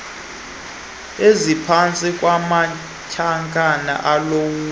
eziphantsi kwamanyathelo olawulo